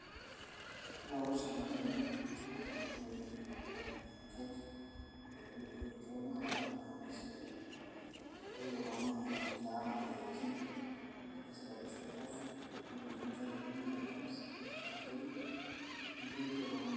ore kulo sabunini iloitukishoreki aitukuyie inkaik ntukuyieki choo naa kanyorr oleng amu isidain kituku oltung'ani keraa imoyiaritin naisabisha olchafu otii inkaik inonok e germs ashu bacteria neeku keret oltung'ani.